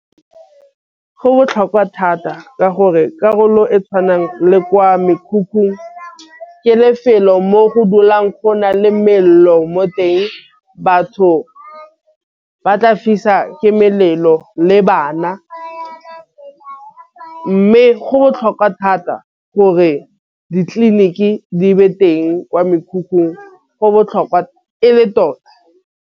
Go botlhokwa thata ka gore karolo e tšhwanang le kwa mekhukhung ke lefelo mo go dulang go na le mmelo mo teng. Batho ba tla fiswa ke melelo le bana, mme go botlhokwa thata gore ditleliniki di be teng kwa mekhukhung go botlhokwa e le tota.